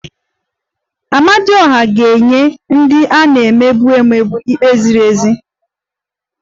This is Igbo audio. Amadioha ga-enye ndị a na-emegbu emegbu ikpe ziri ezi